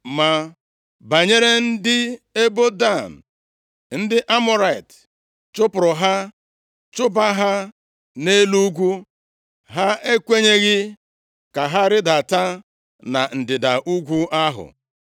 Ma banyere ndị ebo Dan, ndị Amọrait chụpụrụ ha chụba ha nʼelu ugwu. Ha ekwenyeghị ka ha rịdata na ndịda ugwu ahụ.